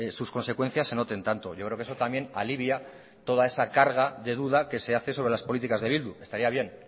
sus consecuencias se noten tanto yo creo que eso también alivia toda esa carga de duda que se hace sobre las políticas de bildu estaría bien